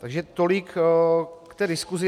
Takže tolik k té diskusi.